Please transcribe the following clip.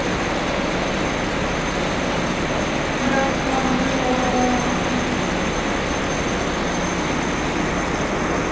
бірақ мардымды жауап ала алмапты